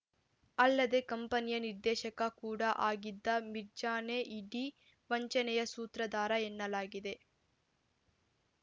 ಅಲ್ಲದೆ ಕಂಪನಿಯ ನಿರ್ದೇಶಕ ಕೂಡ ಆಗಿದ್ದ ಮಿರ್ಜಾನೇ ಇಡೀ ವಂಚನೆಯ ಸೂತ್ರದಾರ ಎನ್ನಲಾಗಿದೆ